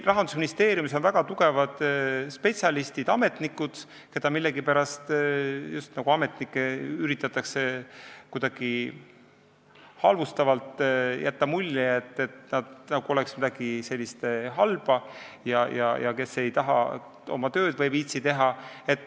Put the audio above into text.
Rahandusministeeriumis on väga tugevad spetsialistid, kellest millegipärast üritatakse halvustavalt jätta muljet, nagu nad oleksid kuidagi sellised halvad, kes ei taha või ei viitsi tööd teha.